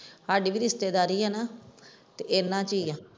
ਸਾਡੀ ਵੀ ਰਿਸ਼ਤੇਦਾਰੀ ਹੈ ਨਾ ਤੇ ਉਹਨਾਂ ਚੋਂ ਹੀ ਹੈ।